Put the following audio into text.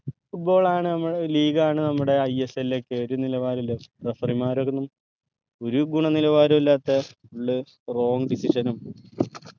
football ആണ് നമ്മ league ആണ് നമ്മുടെ ISL ഒക്കെ ഒരു നിലവാരഇല്ല referee മാരൊന്നും ഒരു ഗുണനിലവാരവു ഇല്ലാത്ത full wrong decision ഉം